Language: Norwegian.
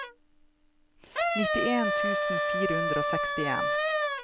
nitten tusen fire hundre og sekstien